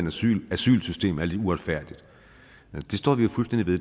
asylsystem er lidt uretfærdigt det står vi fuldstændig ved